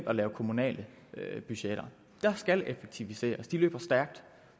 at lave kommunale budgetter der skal effektiviseres de løber stærkt